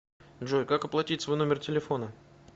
джой как оплатить свой номер телефона